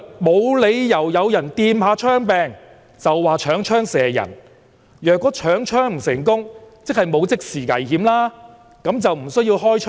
"無理由有人掂下槍柄，就話搶槍射人；若搶槍不成功，即是沒有即時危險，那就更不需要開槍。